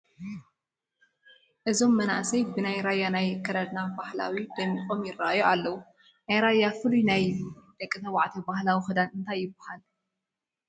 እዞም መናእሰይ ብናይ ራያ ናይ ኣከዳድና ባህሊ ደሚቖም ይርአዩ ኣለዉ፡፡ ናይ ራያ ፍሉይ ናይ ደቂ ተባዕትዮ ባህላዊ ክዳን እንታይ ይበሃል?